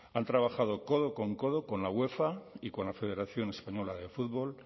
han trabajado codo con codo con la uefa y con la federación española de fútbol